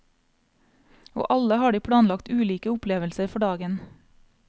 Og alle har de planlagt ulike opplevelser for dagen.